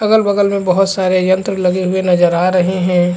अगल-बगल में बहुत से यंत्र लगे हुए नजर आ रहै है।